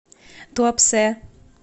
туапсе